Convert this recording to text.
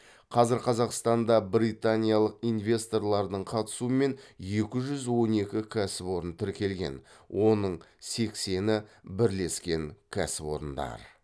қазір қазақстанда британиялық инвесторлардың қатысуымен екі жүз он екі кәсіпорын тіркелген оның сексені бірлескен кәсіпорындар